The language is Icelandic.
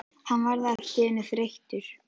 Hann varð allt í einu þreyttur.